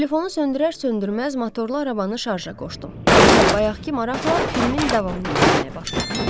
Telefonu söndürər-söndürməz motorlu arabanı şarja qoşdum və bayaqkı maraqla filmin davamını izləməyə başladım.